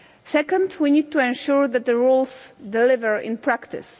Secondly, we need to ensure that the rules deliver in practice.